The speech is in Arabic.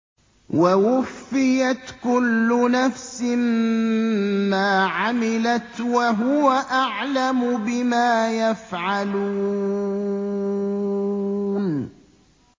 وَوُفِّيَتْ كُلُّ نَفْسٍ مَّا عَمِلَتْ وَهُوَ أَعْلَمُ بِمَا يَفْعَلُونَ